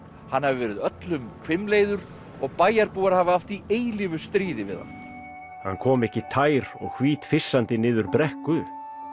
hann hafi verið öllum hvimleiður og bæjarbúar hafi átt í eilífu stríði við hann hann kom ekki tær og hvítfyssandi niður brekku